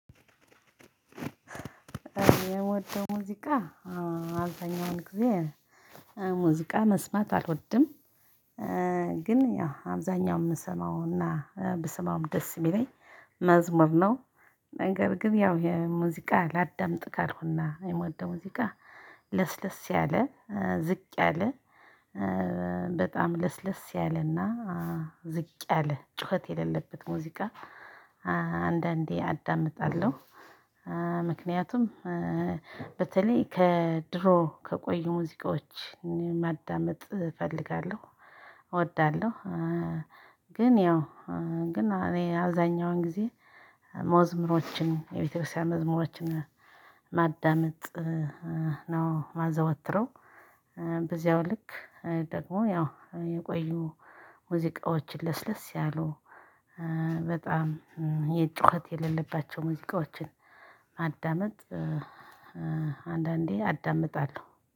የሞተው ሙዚቃ አራተኛውን ጊዜ ሙዚቃ መስማት አልወድም። ግን ያው አብዛኛውን የምሰማውና ብሰማውም ደስ የሚለኝ መዝሙር ነው። ነገር ግን ያው ይሄ ሙዚቃ ላዳምጥ ካልኩና የምወደው ሙዚቃ ለስለስ ያለ ዝቅ ያለ በጣም ለስለስ ያለና ዝቅ ያለ ጩኸት የሌለበት ሙዚቃ አንዳንዴ አዳምጣለሁ። ምክንያቱም በተለይ ከድሮ ከቆዩ ሙዚቃዎች ማዳመጥ እፈልጋለሁ እወዳለሁ። ግን ያው ግን እኔ አዛኛውን ጊዜ መዝሙሮችን የቤተክርስቲያን መዝሙሮችን ማዳመጥ ነው የማዘወትረው። በዚያው ልክ ደግሞ ያው የቆዩ ሙዚቃዎችን ለስለስ ያሉ በጣም የጩኸት የሌለባቸው ሙዚቃዎችን ማዳመጥ። አንዳንዴ አዳምጣለሁ